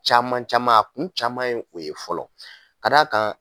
Caman caman a kun caman ye o ye fɔlɔ ka d'a kan